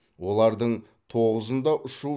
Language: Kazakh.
олардың тоғызында ұшу